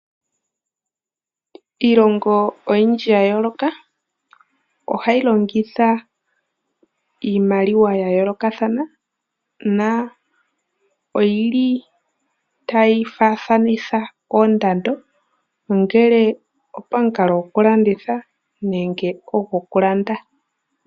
Iilongo oyindji ya yooloka ohayi longitha iimaliwa ya yoolokathana na oyili tayi faathanitha oondando ongele opamukalo gokulanditha nenge ogo ku landa.